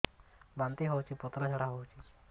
ବାନ୍ତି ହଉଚି ପତଳା ଝାଡା ହଉଚି